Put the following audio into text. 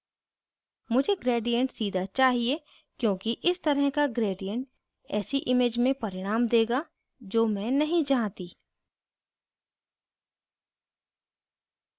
मुझे gradient सीधा चाहिए क्योंकि इस तरह का gradient ऐसी image में परिणाम देगा जो मैं नहीं चाहती